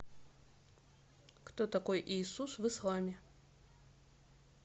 кто такой иисус в исламе